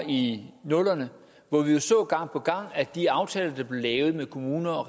i nullerne hvor vi jo gang på gang at de aftaler der blev lavet med kommuner og